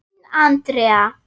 Þín Andrea.